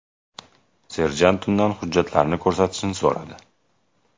Serjant undan hujjatlarini ko‘rsatishni so‘radi.